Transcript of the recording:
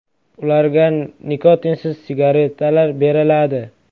Ularga nikotinsiz sigeretalar beriladi.